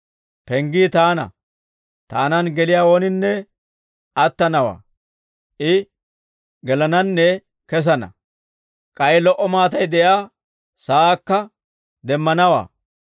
Penggii taana; taanan geliyaa ooninne attanawaa. I gelananne kesana; k'ay lo"o maatay de'iyaa saakka demmanawaa.